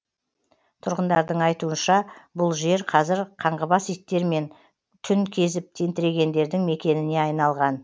тұрғындардың айтуынша бұл жер қазір қаңғыбас иттер мен түн кезіп тентірегендердің мекеніне айналған